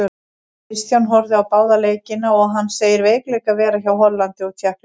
Kristján horfði á báða leikina og hann segir veikleika vera hjá Hollandi og Tékklandi.